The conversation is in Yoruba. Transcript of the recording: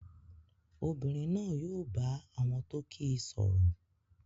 Obìnrin náà yóò bá àwọn tó kíi sọ̀rọ̀